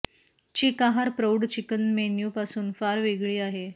चिक आहार प्रौढ chicken menu पासून फार वेगळी आहे